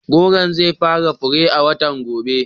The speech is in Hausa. Gworon zai fara fure a watan gobe.